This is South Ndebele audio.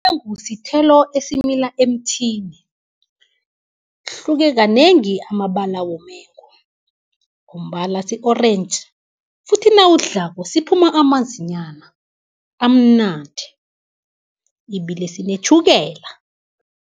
Umengu sithelo esimila emthini, hlukekanengi amabala womengu, ngombana si-orentji, futhi nawusdlako siphuma amanzinyana amnandi, ibile sinetjhukela.